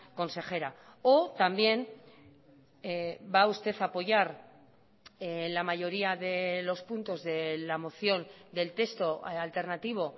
consejera o también va usted a apoyar la mayoría de los puntos de la moción del texto alternativo